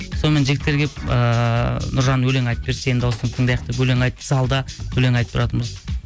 сонымен жігіттер келіп ыыы нұржан өлең айтып берші сенің дауысыңды тыңдайық деп өлең айтып залда өлең айтып тұратынбыз